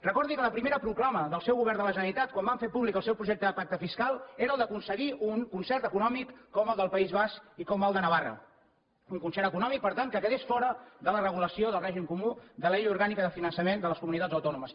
recordi que la primera proclama del seu govern de la generalitat quan van fer públic el seu projecte de pacte fiscal era el d’aconseguir un concert econòmic com el del país basc i com el de navarra un concert econòmic per tant que quedés fora de la regulació del règim comú de la llei orgànica de finançament de les comunitats autònomes